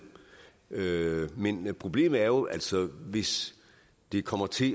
med men problemet er jo altså hvis det kommer til